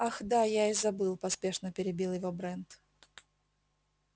ах да я и забыл поспешно перебил его брент